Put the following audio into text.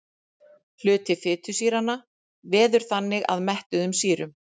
Hluti fitusýranna veður þannig að mettuðum sýrum.